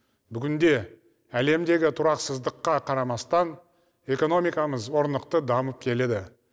бүгінде әлемдегі тұрақсыздыққа қарамастан экономикамыз орнықты дамып келеді